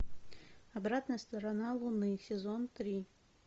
обратная сторона луны сезон три